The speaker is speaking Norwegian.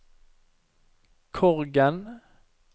Korgen